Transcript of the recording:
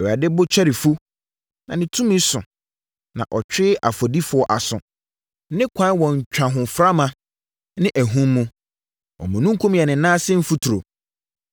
Awurade bo kyɛre fu, na ne tumi so, na ɔtwe ɔfɔdifoɔ aso. Ne kwan wɔ ntwahoframa ne ahum mu, omununkum yɛ ne nan ase mfuturo.